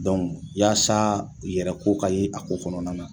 yaasa yɛrɛ ko ka ye a ko kɔnɔna na